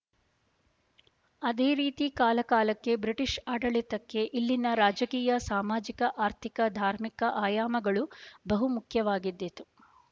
ಅದೇ ರೀತಿಕಾಲಕಾಲಕ್ಕೆ ಬ್ರಿಟಿಷ ಆಡಳಿತಕ್ಕೆ ಇಲ್ಲಿನ ರಾಜಕೀಯ ಸಾಮಾಜಿಕ ಆರ್ಥಿಕ ಧಾರ್ಮಿಕ ಆಯಾಮಗಳು ಬಹುಮುಖ್ಯವಾಗಿದ್ದಿತು